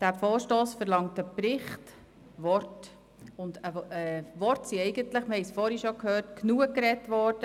Dieser Vorstoss verlangt einen Bericht und Worte; und Worte sind eigentlich – wir haben es vorhin schon gehört – genug gesprochen worden.